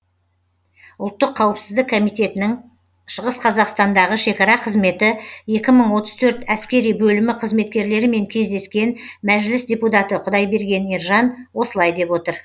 ұлттық қауіпсіздік комитетінің шығыс қазақстандағы шекара қызметі екі мың отыз төрт әскери бөлімі қызметкерлерімен кездескен мәжіліс депутаты құдайберген ержан осылай деп отыр